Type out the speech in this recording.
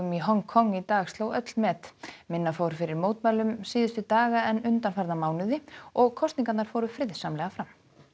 í Hong Kong í dag sló öll met minna fór fyrir mótmælum síðustu daga en undanfarna mánuði og kosningarnar fóru friðsamlega fram